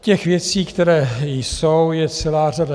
Těch věcí, které jsou, je celá řada.